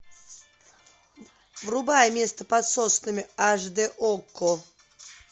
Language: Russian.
врубай место под соснами аш д окко